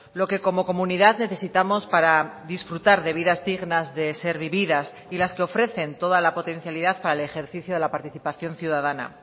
lo que como comunidad necesitamos para disfrutar de vidas dignas de ser vividas y las que ofrecen toda la potencialidad para el ejercicio de la participación ciudadana